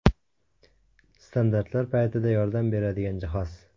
Standartlar paytida yordam beradigan jihoz.